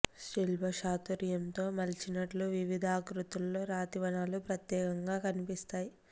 శిల్ప చాతుర్యంతో మలిచినట్లు వివిధ ఆకృతుల్లో రాతివనాలు ప్రత్యేకంగా కనిపిస్తాయి